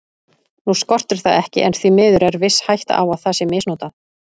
Nú skortir það ekki en því miður er viss hætta á að það sé misnotað.